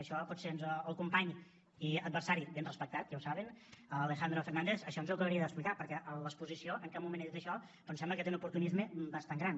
això potser el company i adversari ben respectat ja ho saben alejandro fernández ens ho acabaria d’explicar perquè a l’exposició en cap moment ha dit això però em sembla que té un oportunisme bastant gran